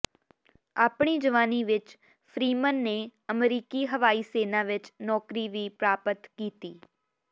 ਆਪਣੀ ਜਵਾਨੀ ਵਿਚ ਫ੍ਰੀਮਨ ਨੇ ਅਮਰੀਕੀ ਹਵਾਈ ਸੈਨਾ ਵਿਚ ਨੌਕਰੀ ਵੀ ਪ੍ਰਾਪਤ ਕੀਤੀ